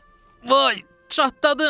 Vay çatladım!